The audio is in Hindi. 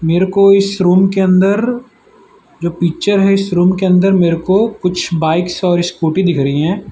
मेरे को इस रूम के अंदर जो पिक्चर है इस रूम के अंदर मेरे को कुछ बाईक्स और स्कूटी दिख रही हैं।